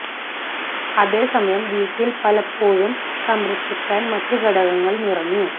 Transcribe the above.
അതേ സമയം വീട്ടിൽ പലപ്പോഴും സംരക്ഷിക്കാൻ മറ്റ് ഘടകങ്ങൾ നിറഞ്ഞു